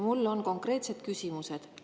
Mul on konkreetsed küsimused.